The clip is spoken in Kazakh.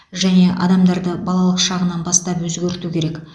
және адамдарды балалық шағынан бастап өзгерту керек